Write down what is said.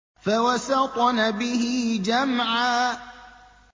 فَوَسَطْنَ بِهِ جَمْعًا